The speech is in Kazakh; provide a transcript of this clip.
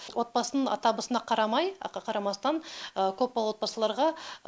отбасының табысына қарамай қарамастан көп балалы отбасыларға